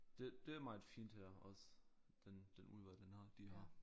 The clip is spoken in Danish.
Det det er meget fint her også den den udvalg den har de har